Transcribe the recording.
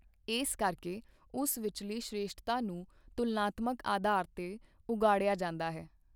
ਇਸ ਕਰਕੇ ਉਸ ਵਿਚਲੀ ਸ਼੍ਰੇਸ਼ਠਤਾ ਨੂੰ ਤੁਲਨਾਤਮਕ ਅਧਾਰ ਤੇ ਉਘਾੜਿਆ ਜਾਂਦਾ ਹੈ।